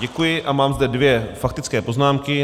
Děkuji a mám zde dvě faktické poznámky.